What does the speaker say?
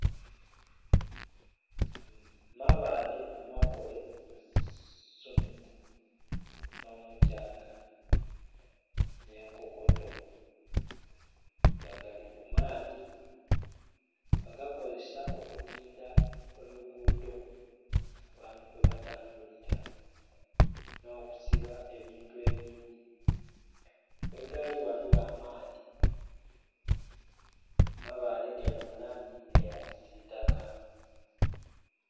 Mabale amakole musumiti nho mukyanga nhe nkokoto nga gali kumaadhi bagakozesa okutindha oluguudho abaantu kwebatambulira nhokusiba ebintu ebindhi ghegali ghaligho amaadhi mabale gali mulangi eya kisitaka